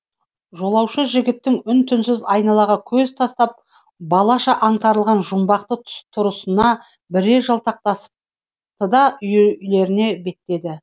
жолаушы жігіттің үн түнсіз айналаға көз тастап балаша аңтарылған жұмбақты тұрысына бірер жалтақтасты да үйлеріне беттеді